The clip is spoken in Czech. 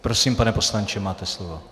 Prosím, pane poslanče, máte slovo.